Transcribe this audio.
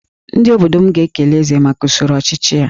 Ndị obodo m ga-ekele Eze maka usoro ọchịchị ya